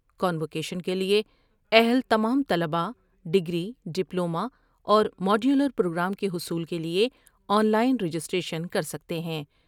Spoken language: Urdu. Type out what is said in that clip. کانوکیشن کے لیے اہل تمام طلبا ڈگری ، ڈپلوما اور ماڈیولر پروگرام کے حصول کے لیے آن لائن رجسٹریشن کر سکتے ہیں ۔